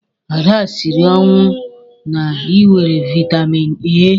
Ada siri ọnwụ na-ịwere vitamin A.